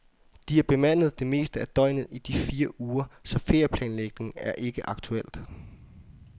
De er bemandet det meste af døgnet i de fire uger, så ferieplanlægning er ikke aktuelt.